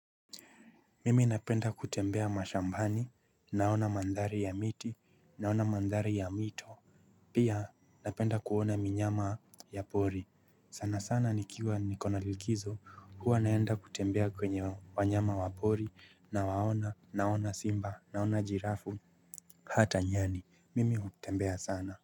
Mimi napenda kutembea mashambani naona mandhari ya miti naona mandhari ya mito pia napenda kuona minyama ya pori sana sana nikiwa nikona likizo huwa naenda kutembea kwenye wanyama wa pori na waona naona simba naona jirafu hata nyani mimi kutembea sana.